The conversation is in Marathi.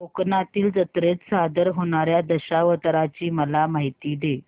कोकणातील जत्रेत सादर होणार्या दशावताराची मला माहिती दे